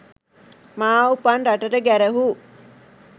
මා උපන් රටට ගැරහූ